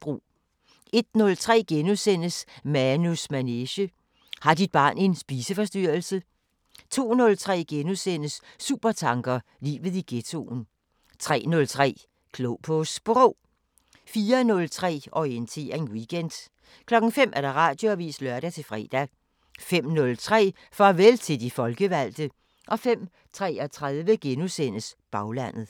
01:03: Manus manege: Har dit barn en spiseforstyrrelse? * 02:03: Supertanker: Livet i ghettoen * 03:03: Klog på Sprog 04:03: Orientering Weekend 05:00: Radioavisen (lør-fre) 05:03: Farvel til de folkevalgte 05:33: Baglandet *